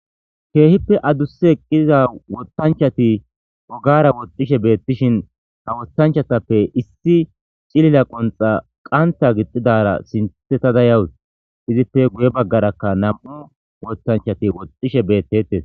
keehippe adusa eqqiza wotanchati ogara woxxishe beettishin ha wotanchatappe issi cilila qonxa qanta gixxidara sinthetada yawus izippe guye baggarakka nam7u wotanchati woxxishe bettetes.